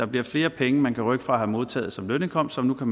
bliver flere penge man kan rykke fra at have modtaget som lønindkomst og